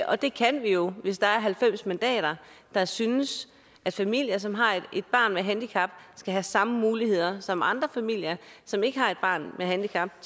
og det kan vi jo hvis der er halvfems mandater der synes at familier som har et barn med handicap skal have samme muligheder som andre familier som ikke har et barn med handicap